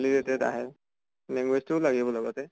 লিলেতেদ আহে, language টোও লাগিব লগতে।